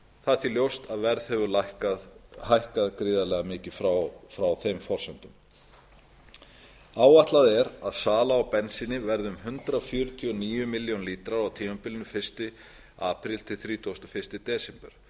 það er því ljóst að verð hefur hækkað gríðarlega mikið frá þeim forsendum áætlað er að sala á bensíni verði um hundrað fjörutíu og níu milljónir lítra á tímabilinu fyrsta apríl til þrítugasta og fyrsta desember